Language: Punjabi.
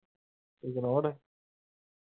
ignore.